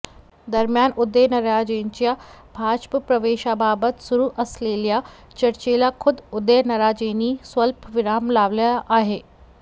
दरम्यान उदयनराजेंच्या भाजप प्रवेशाबाबत सुरु असलेल्या चर्चेला खुद्द उदयनराजेंनी स्वल्पविराम लावला आहे